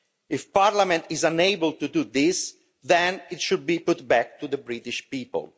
If their parliament is unable to do this, then it should be put back to the British people.